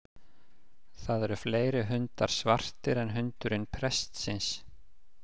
Það eru fleiri hundar svartir en hundurinn prestsins.